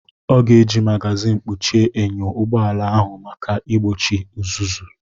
Ọ ga-eji mágázin kpuchie enyo ụgbọ ala ahụ maka igbochi uzuzu